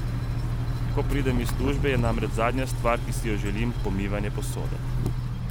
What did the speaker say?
Ko pridem iz službe, je namreč zadnja stvar, ki si jo želim, pomivanje posode.